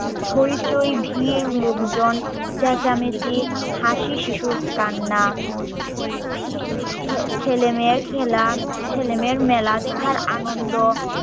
হৈচৈ ভীড় লোকজন চেঁচামিচি হাসি শিশুর কান্না ছেলেমেয়ের খেলা ছেলেমেয়ের মেলা দেখার আনন্দ